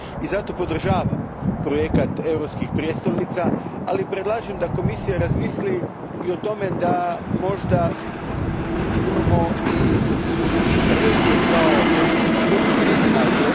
Zato podržavam projekt europskih prijestolnica, ali predlažem da Komisija razmisli i o tome da možda imamo i regije kao kulturnu destinaciju.